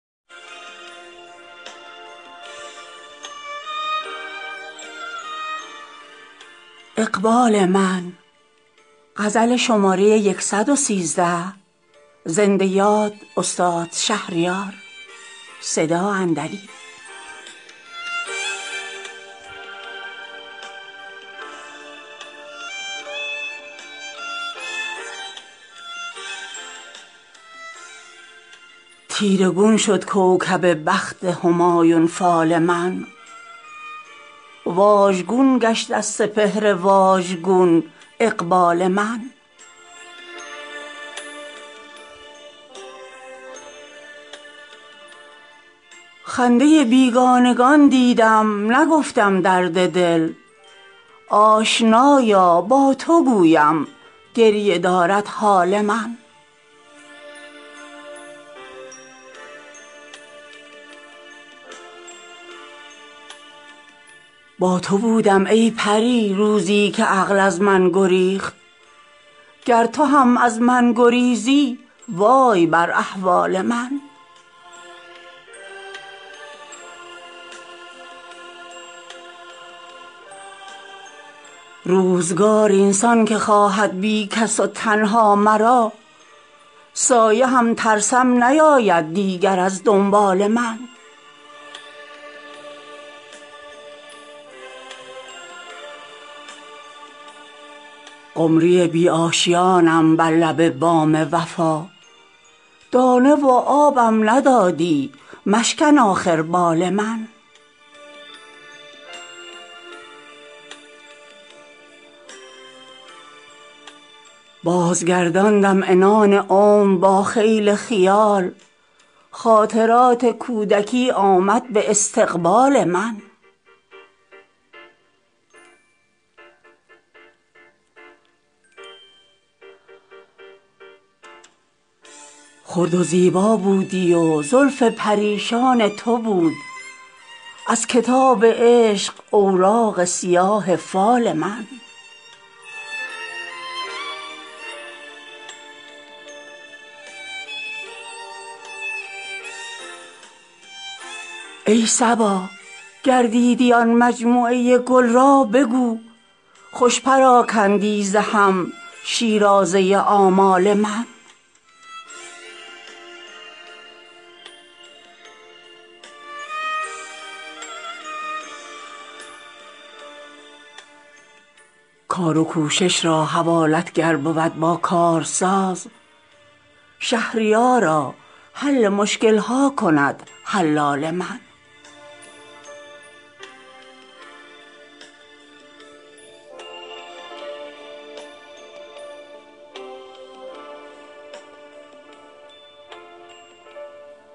تیره گون شد کوکب بخت همایون فال من واژگون گشت از سپهر واژگون اقبال من خنده بیگانگان دیدم نگفتم درد دل آشنایا با تو گویم گریه دارد حال من با تو بودم ای پری روزی که عقل از من گریخت گر تو هم از من گریزی وای بر احوال من روزگار این سان که خواهد بی کس و تنها مرا سایه هم ترسم نیاید دیگر از دنبال من قمری بی آشیانم بر لب بام وفا دانه و آبم ندادی مشکن آخر بال من بازگرداندم عنان عمر با خیل خیال خاطرات کودکی آمد به استقبال من خرد و زیبا بودی و زلف پریشان تو بود از کتاب عشق اوراق سیاه فال من ای صبا گر دیدی آن مجموعه گل را بگو خوش پراکندی ز هم شیرازه آمال من کار و کوشش را حوالت گر بود با کارساز شهریارا حل مشکل ها کند حلال من